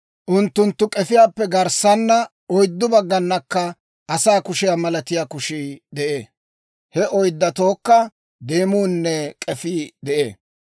Unttunttu k'efiyaappe garssaana oyddu bagganakka asaa kushiyaa malatiyaa kushii de'ee. He oyddatookka deemuunne k'efii de'ee.